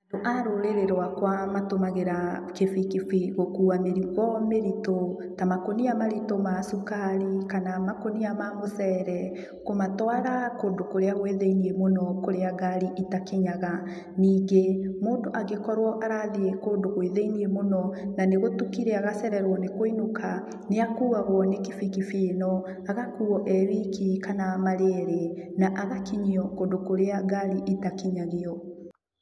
Andũ a rũrĩrĩ rwakwa matũmagĩra kibikibi gũkua mĩrigo mĩritũ, ta makũnia maritũ ma cukari kana makũnia ma mũcere, kũmatwara kũndũ kũrĩa kwĩ thĩiniĩ mũno kũrĩa ngari itakinyaga. Ningĩ, mũndũ angĩkorwo arathiĩ kũndũ gwĩ thĩiniĩ mũno, na nĩgũtukire agacererwo nĩ kũinũka, nĩakuawgo nĩ kibikibi ĩno, agakuo e wiki kana marĩ erĩ, na agakinyio kũndũ kũrĩa ngari itakinyagio.